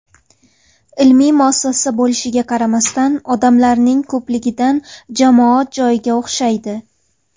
Ilmiy muassasa bo‘lishiga qaramasdan, odamlarning ko‘pligidan jamoat joyiga o‘xshaydi.